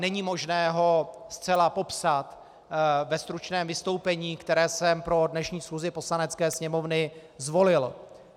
Není možné ho zcela popsat ve stručném vystoupení, které jsem pro dnešní schůzi Poslanecké sněmovny zvolil.